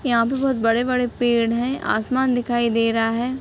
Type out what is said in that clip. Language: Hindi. यहाँ पे बहुत बड़े-बड़े पेड़ है आसमान दिखाई दे रहा है।